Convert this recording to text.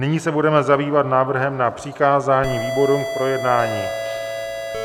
Nyní se budeme zabývat návrhem na přikázání výborům k projednání.